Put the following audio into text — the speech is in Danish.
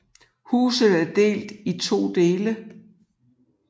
Huset er delt i to dele